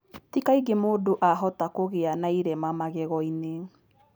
Ti kaingĩ mũndũ ahota kũgĩa na irema magego-inĩ.